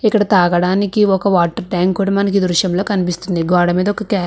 ఇక్కడ తాగడానికి ఒక వాటర్ ట్యాంకు కూడా మనకు ఈ దృశ్యంలో కనిపిస్తూ ఉంది గోడమీద ఒక --